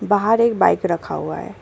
बाहर एक बाइक रखा हुआ है।